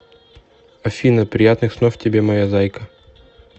афина приятных снов тебе моя зайка